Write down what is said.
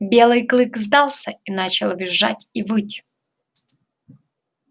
белый клык сдался и начал визжать и выть